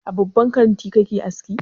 A babban kanti kake aski?